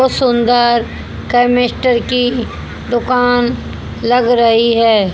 और सुंदर केमिस्ट्र की दुकान लग रही है।